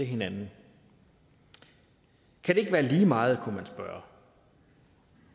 hinanden kan det ikke være lige meget kunne man spørge